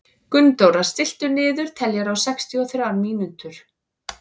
Gunndóra, stilltu niðurteljara á sextíu og þrjár mínútur.